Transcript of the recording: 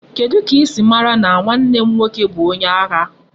Kedu ka isi mara na nwanne m nwoke bu onye agha?